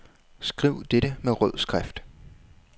Skriv dette med rød skrift.